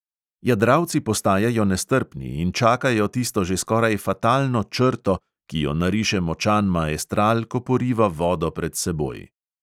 Jadralci postajajo nestrpni in čakajo tisto že skoraj fatalno "črto", ki jo nariše močan maestral, ko poriva vodo pred seboj.